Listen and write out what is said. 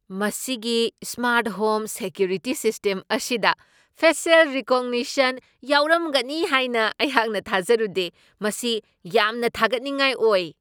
ꯃꯁꯤꯒꯤ smart home security system ꯑꯁꯤꯗ facial recognition ꯌꯥꯎꯔꯝꯒꯅꯤ ꯍꯥꯏꯅ ꯑꯩꯍꯥꯛꯅ ꯊꯥꯖꯔꯨꯗꯦ ꯫ ꯃꯁꯤ ꯌꯥꯝꯅ ꯊꯒꯠꯅꯤꯡꯉꯥꯏ ꯑꯣꯏ !